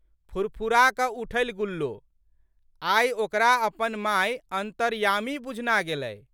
फुरफुराकऽ उठलि गुल्लो। आइ ओकरा अपन माय अन्तर्यामी बुझना गेलै।